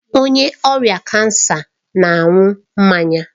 Onye ọrịa kansa na-aṅụ mmanya